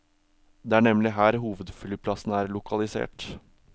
Det er nemlig her hovedflyplassen er lokalisert.